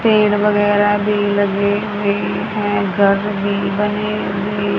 पेड़ वगैरह भी लगे हुए हैं घर भी बने हुए--